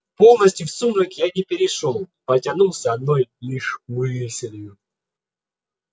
полностью в сумрак я не перешёл потянулся одной лишь мыслью